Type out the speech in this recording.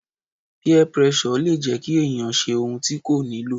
Peer pressure le jẹ́ kí ènìyàn ṣe ohun tí kò nílò.